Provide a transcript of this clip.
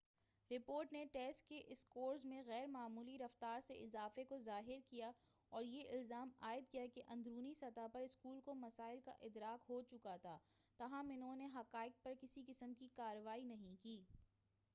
report نے test کے scores میں غیر معمولی رفتار سے اضافے کو ظاہر کیا اور یہ الزام عائد کیا کہ اندرونی سطح پر اسکول کو مسائل کا ادراک ہو چکا تھا تاہم انہوں نے ان حقائق پر کسی قسم کی کارروائی نہیں کی